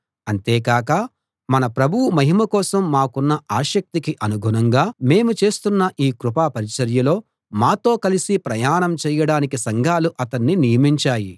అంతేకాక మన ప్రభువు మహిమ కోసం మాకున్న ఆసక్తికి అనుగుణంగా మేము చేస్తున్న ఈ కృపా పరిచర్యలో మాతో కలిసి ప్రయాణం చేయడానికి సంఘాలు అతన్ని నియమించాయి